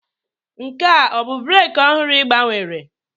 Nke a ọ bụ breeki ọhụrụ ị gbanwere?